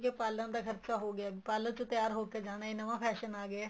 ਇੱਕ ਇਹ ਪਾਲਰਾਂ ਦਾ ਖਰਚਾ ਹੋ ਗਿਆ parlor ਚ ਤਿਆਰ ਹੋਕੇ ਜਾਣਾ ਇਹ ਨਵਾਂ fashion ਆ ਗਿਆ